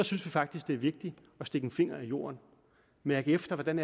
synes faktisk det er vigtigt at stikke en finger i jorden og mærke efter hvordan